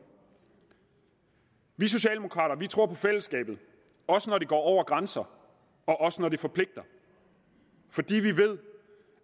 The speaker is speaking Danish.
vi socialdemokrater tror på fællesskabet også når det går over grænser og også når det forpligter fordi vi ved